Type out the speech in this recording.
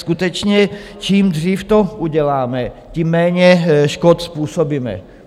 Skutečně čím dřív to uděláme, tím méně škod způsobíme.